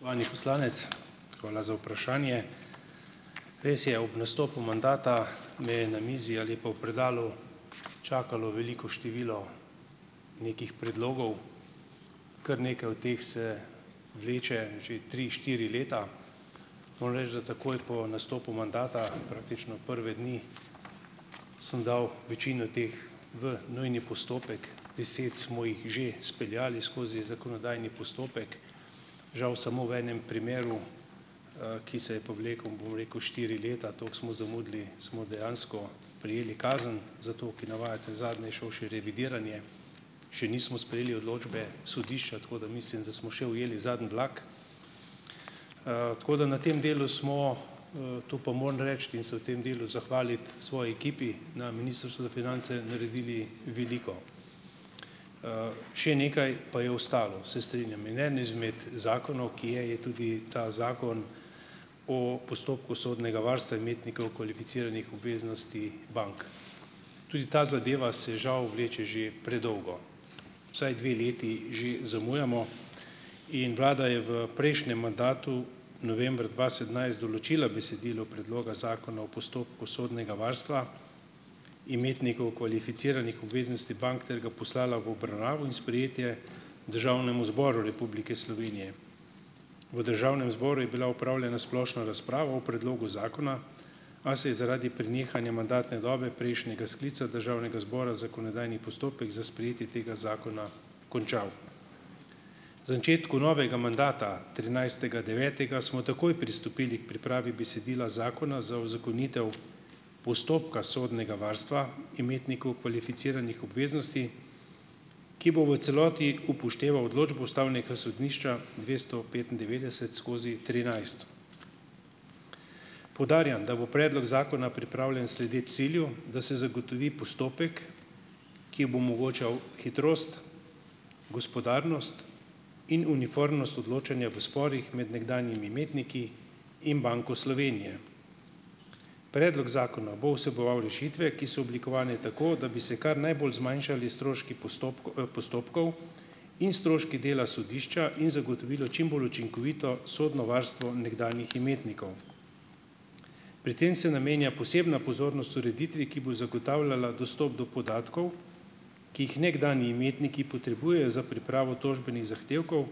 Spoštovani poslanec, hvala za vprašanje. Res je, ob nastopu mandata me je na mizi ali pa v predalu čakalo veliko število nekih predlogov, kar nekaj od teh se vleče že tri, štiri leta. Moram reči, da takoj po nastopu mandata, praktično prve dni, sem dal večino teh v nujni postopek. Deset smo jih že speljali skozi zakonodajni postopek. Žal samo v enem primeru, ki se je pa vlekel, bom rekel, štiri leta. Tako smo zamudili. Smo dejansko prejeli kazen za to, ki navajate, zadnje je šlo še revidiranje, še nismo sprejeli odločbe sodišča. Tako da mislim, da smo še ujeli zadnji vlak. Tako da na tem delu smo, to pa moram reči, in se v tem delu zahvaliti svoji ekipi na Ministrstvu za finance, naredili veliko. Še nekaj pa je ostalo, se strinjam. In eden izmed zakonov, ki je, je tudi ta zakon o postopku sodnega varstva imetnikov kvalificiranih obveznosti bank. Tudi ta zadeva se žal vleče že predolgo, vsaj dve leti že zamujamo. In vlada je v prejšnjem mandatu novembra dva sedemnajst določila besedilo predloga zakona o postopku sodnega varstva imetnikov kvalificiranih obveznosti bank ter ga poslala v obravnavo in sprejetje Državnemu zboru Republike Slovenije. V Državnem zboru je bila opravljena splošna razprava o predlogu zakona, a se je zaradi prenehanja mandatne dobe prejšnjega sklica Državnega zbora zakonodajni postopek za sprejetje tega zakona končal. Začetku novega mandata trinajstega devetega smo takoj pristopili k pripravi besedila zakona za uzakonitev postopka sodnega varstva imetnikov kvalificiranih obveznosti, ki bo v celoti upošteval odločbo ustavnega sodišča dvesto petindevetdeset skozi trinajst. Poudarjam, da bo predlog zakona pripravljen sledeč cilju, da se zagotovi postopek, ki bo omogočal hitrost, gospodarnost in uniformnost odločanja v sporih med nekdanjimi imetniki in Banko Slovenije. Predlog zakona bo vseboval rešitve, ki so oblikovane tako, da bi se kar najbolj zmanjšali stroški postopkov in stroški dela sodišča in zagotovilo čim bolj učinkovito sodno varstvo nekdanjih imetnikov. Pri tem se namenja posebna pozornost ureditvi, ki bo zagotavljala dostop do podatkov, ki jih nekdanji imetniki potrebujejo za pripravo tožbenih zahtevkov,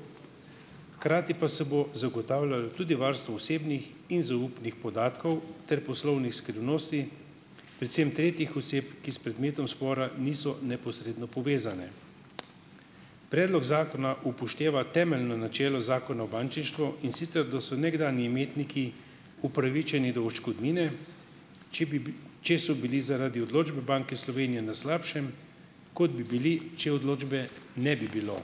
hkrati pa se bo zagotavljalo tudi varstvo osebnih in zaupnih podatkov ter poslovnih skrivnosti, predvsem tretjih oseb, ki s predmetom spora niso neposredno povezane. Predlog zakona upošteva temeljno načelo zakona o bančništvu, in sicer da so nekdanji imetniki upravičeni do odškodnine, če bi če so bili zaradi odločbe Banke Slovenije na slabšem, kot bi bili, če odločbe ne bi bilo.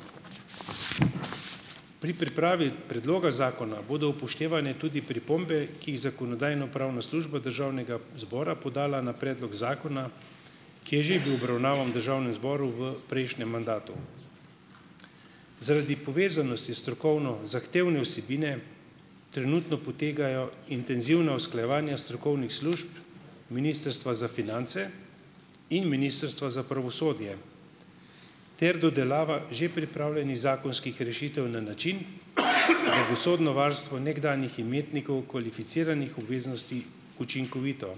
Pri pripravi predloga zakona bodo upoštevane tudi pripombe, ki jih Zakonodajno-pravna služba Državnega zbora podala na predlog zakona, ki je že bil obravnavan v državnem zboru v prejšnjem mandatu. Zaradi povezanosti strokovno zahtevne vsebine trenutno potekajo intenzivna usklajevanja strokovnih služb Ministrstva za finance in Ministrstva za pravosodje ter dodelava že pripravljenih zakonskih rešitev na način, da bo sodno varstvo nekdanjih imetnikov kvalificiranih obveznosti učinkovito.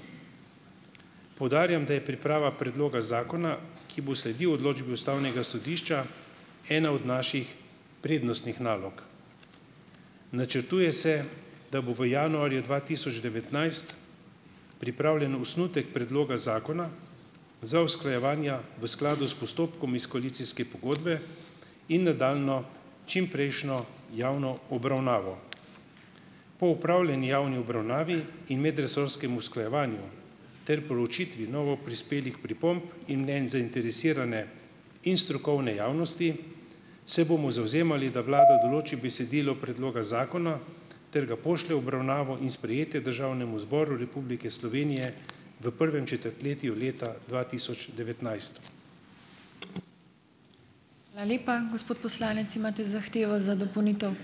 Poudarjam, da je priprava predloga zakona, ki bo sledil odločbi ustavnega sodišča ena od naših prednostnih nalog. Načrtuje se, da bo v januarju dva tisoč devetnajst pripravljen osnutek predloga zakona za usklajevanja v skladu s postopkom iz koalicijske pogodbe in nadaljnjo čimprejšnjo javno obravnavo. Po opravljeni javni obravnavi in medresorskem usklajevanju ter proučitvi novoprispelih pripomb in mnenj zainteresirane in strokovne javnosti se bomo zavzemali, da vlada določi besedilo predloga zakona ter ga pošlje v obravnavo in sprejetje Državnemu zboru Republike Slovenije v prvem četrtletju leta dva tisoč devetnajst.